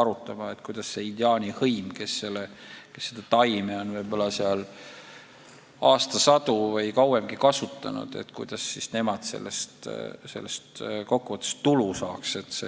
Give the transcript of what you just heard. arutama, kuidas see indiaani hõim, kes seda taime on võib-olla seal aastasadu või kauemgi kasutanud, sellest kokku võttes ka tulu saaks.